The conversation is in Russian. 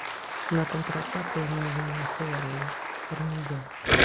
на контратаку и мы его не нахуярили вернее я